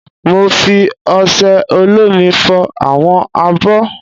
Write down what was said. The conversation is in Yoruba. Mo fi osẹ olómi fọ àwọn abọ́